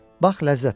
Bax, ləzzət al.